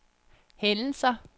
hændelser